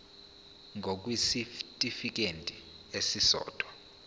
ngur kwisitifikedi esisodwa